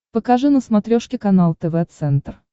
покажи на смотрешке канал тв центр